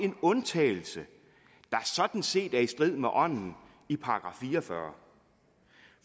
en undtagelse der sådan set er i strid med ånden i § fire og fyrre